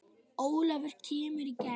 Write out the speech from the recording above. Ólafur kemur í gegn.